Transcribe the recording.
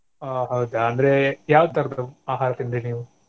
ಓ ಹೌದಾ ಅಂದ್ರೆ ಯಾವ ತರದ್ದು ಆಹಾರ ತಿಂದ್ರಿ ನೀವು?